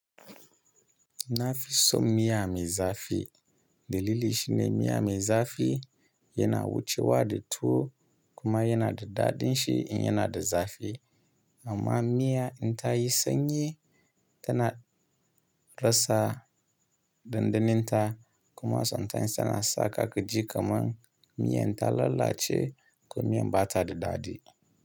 Na fi son miya mai zafi. Dalili shine miya mai zafi yana wucewa da tuwo kuma yana da daɗin shi in yana da zafi. Amma miya in ta yi sanyi tana rasa dandanon ta kuma sometimes tana sa ka gaji kamar miyan ta lalace ko miyan ba ta da daɗi.